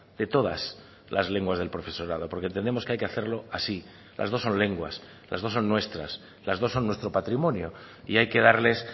de todas las lenguas del profesorado porque entendemos que hay que hacerlo así las dos son lenguas las dos son nuestras las dos son nuestro patrimonio y hay que darles